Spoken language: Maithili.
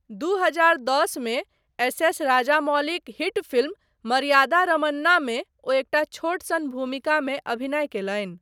दू हजार दस मे एस. एस. राजामौलीक हिट फिल्म 'मर्यादा रमन्ना'मे ओ एकटा छोटसन भूमिकामे अभिनय कयलनि।